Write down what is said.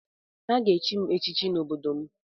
Ha ga-echi m echichi n’obodo m